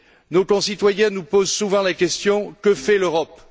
Nos concitoyens nous posent souvent la question que fait l'Europe?